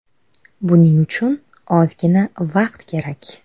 Buning uchun ozgina vaqt kerak.